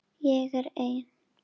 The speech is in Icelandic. Ég er ein.